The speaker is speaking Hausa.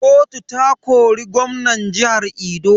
Kotu ta kori gwamnan jihar Edo.